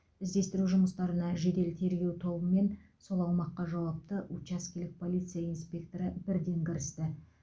іздестіру жұмыстарына жедел тергеу тобы мен сол аумаққа жауапты учаскелік полиция инспекторы бірден кірісті